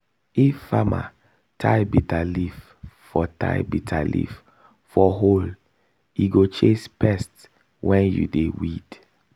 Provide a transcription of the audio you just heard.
if farmer tie bitterleaf for tie bitterleaf for hoe e go chase pest when you dey weed.